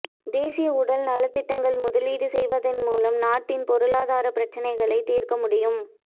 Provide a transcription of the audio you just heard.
தேசிய உடல் நல திட்டங்களில் முதலீடு செய்வதன் மூலம் நாட்டின் பொருளாதார பிரச்சினைகளை தீர்க்க முடியும்